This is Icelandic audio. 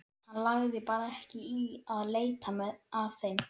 Hann lagði bara ekki í að leita að þeim.